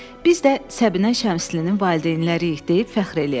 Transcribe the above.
Biz də Səbinə Şəmslinin valideynləriyik deyib fəxr eləyək.